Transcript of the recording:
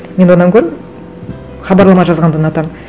мен одан гөрі хабарлама жазғанды ұнатамын